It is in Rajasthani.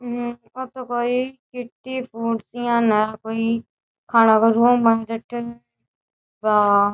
हम्म्म ओ तो कोई किट्टी ज्यान है कोई खाना को रूम है जठे बा --